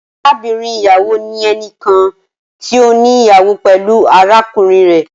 Arabinrin iyawo ni ẹnikan ti o ni iyawo pẹlu arakunrin rẹ.